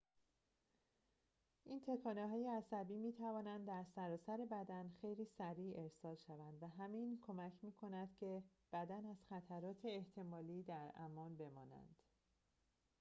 این تکانه‌های عصبی می‌توانند در سراسر بدن خیلی سریع ارسال شوند و همین کمک می‌کند که بدن از خطرات احتمالی در امان بماند